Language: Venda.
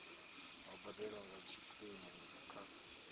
yo badelwa nga tshikimu kha